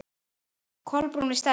Kolbrún við Stellu.